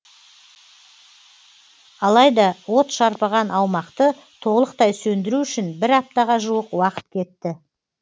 алайда от шарпыған аумақты толықтай сөндіру үшін бір аптаға жуық уақыт кетті